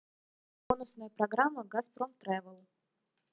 бонусная программа газпром тревел